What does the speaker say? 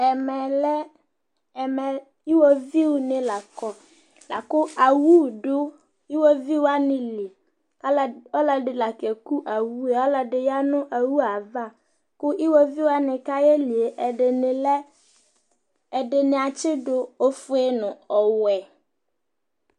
ɛmɛ, iwoviunɩ la kɔ, lakʊ owu dʊ iwoviuwanɩ li, ɔlɔdɩ la keku owu yɛ, ɔlɔdɩ ya nʊ owu yɛ ava, kʊ iwoviuwanɩ kayeli yɛ ɛdɩnɩ atsidʊ ofue nʊ ɔwɛ